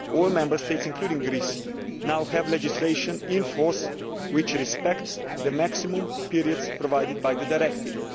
All Member States, including Greece, now have legislation in force which respects the maximum periods provided by the directive.